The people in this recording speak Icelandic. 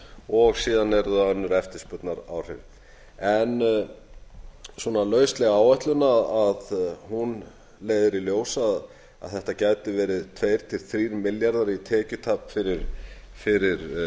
og síðan eru það önnur eftirspurnaráhrif lausleg áætlun leiðir í ljós að þetta gætu verið tvö til þrír milljarðar í tekjutap fyrir